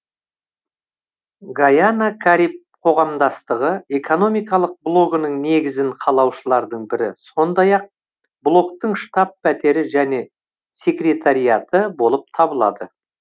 гайана кариб қоғамдастығы экономикалық блогының негізін қалаушылардың бірі сондай ақ блоктың штаб пәтері және секретариаты болып табылады